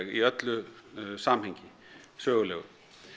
í öllu samhengi sögulegu